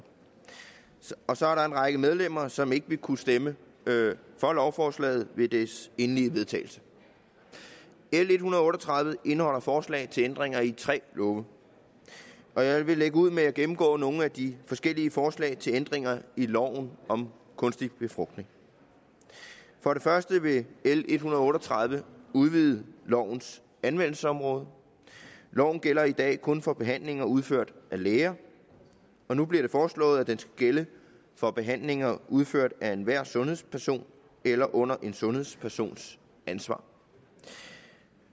og så er der en række medlemmer som ikke vil kunne stemme for lovforslaget ved den endelige vedtagelse l en hundrede og otte og tredive indeholder forslag til ændringer i tre love og jeg vil lægge ud med at gennemgå nogle af de forskellige forslag til ændringer i loven om kunstig befrugtning for det første vil l en hundrede og otte og tredive udvide lovens anvendelsesområde loven gælder i dag kun for behandlinger udført af læger og nu bliver det foreslået at den skal gælde for behandlinger udført af enhver sundhedsperson eller under en sundhedspersons ansvar